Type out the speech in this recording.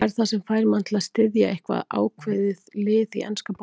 Hvað er það sem fær mann til að styðja eitthvað ákveðið lið í enska boltanum?